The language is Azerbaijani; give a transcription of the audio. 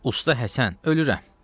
Usta Həsən, ölürəm.